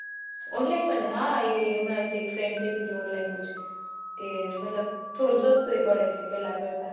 online માં ને હા અમણા જ એક friend કેતી હતી online નુ જ થોડું સસ્તું એ પડે છે પેહલા કરતા.